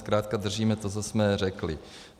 Zkrátka držíme to, co jsme řekli.